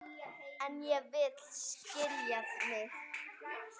En ég vil skilja mig.